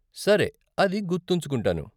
సరే, అది గుర్తుంచుకుంటాను.